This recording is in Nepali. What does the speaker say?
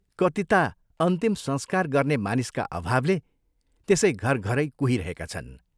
कति ता अन्तिम संस्कार गर्ने मानिसका अभावले त्यसै घरघरै कुहिरहेका छन्।